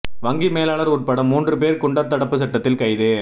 வங்கி மேலாளர் உட்பட மூன்று பேர் குண்டர் தடுப்பு சட்டத்தில் கைது